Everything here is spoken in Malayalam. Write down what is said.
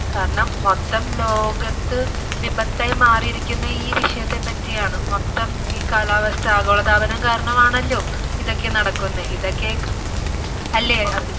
കാരണം മൊത്തം ലോകത്ത് വിപത്തായി മാറിയിരിക്കുന്ന ഈ വിഷയത്തെപറ്റിയാണ് മൊത്തം ഈ കാലാവസ്ഥ ആഗോളതാപനം കാരണമാണല്ലോ ഇതൊക്കെ നടക്കുന്നേ ഇതൊക്കെ അല്ലേ അഭിജിത്ത്?